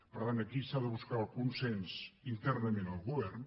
per tant aquí s’ha de buscar el consens internament al govern